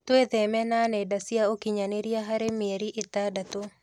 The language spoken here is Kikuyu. Twitheme na nenda cia ũkinyanĩria harĩ mĩeri ĩtandatũ